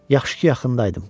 Yaxşı ki, yaxınlığında idim.